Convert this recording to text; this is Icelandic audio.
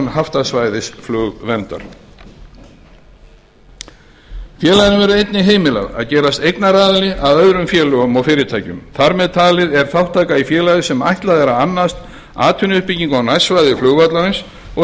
haftasvæðis flugverndar félaginu verður einnig heimilað að gerast eignaraðili að öðrum félögum og fyrirtækjum þar með talið er þátttaka í félagi sem ætlað er að annast atvinnuuppbyggingu á nærsvæði flugvallarins og